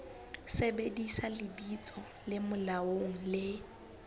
sebedisa lebitso le molaong le